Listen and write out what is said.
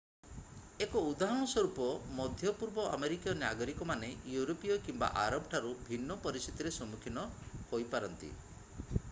1 ଉଦାହରଣ ସ୍ୱରୂପ ମଧ୍ୟପୂର୍ବ ଆମେରିକୀୟ ନାଗରିକମାନେ ୟୁରୋପୀୟ କିମ୍ବା ଆରବ ଠାରୁ ଭିନ୍ନ ପରିସ୍ଥିତିର ସମୁଖୀନ ହୋଇପାରନ୍ତି